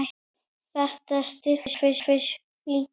Við þetta slitnar flíkin.